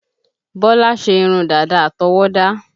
Bọ́lá ṣe irun dàda àtọwọ́dá